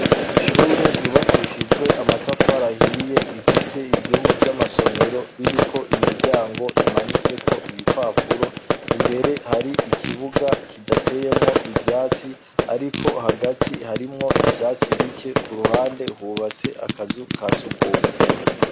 Ishure ryubakishijwe amatafari ahiye, rifise ivyumba vy'amasomero biriko imiryango imanitseko ibipapuro. Imbere har'ikibuga kidateyemwo ivyatsi, ariko hagati harimwo ivyatsi bike. K'uruhande hubatse akazu ka surwumwe.